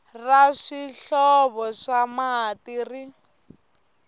ra swihlovo swa mati ri